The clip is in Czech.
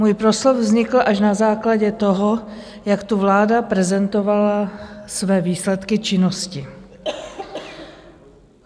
Můj proslov vznikl až na základě toho, jak tu vláda prezentovala své výsledky činnosti.